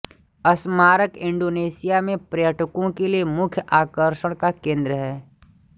स्मारक इंडोनेशिया में पर्यटकों के लिए मुख्य आकर्षण का केन्द्र है